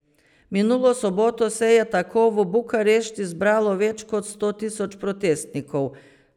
Minulo soboto se je tako v Bukarešti zbralo več kot sto tisoč protestnikov.